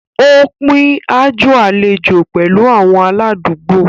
Ó pín aájò àlejò pẹ̀lú àwọn aládùúgbò.